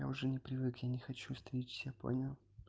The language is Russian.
я уже не привык я не хочу стричься понял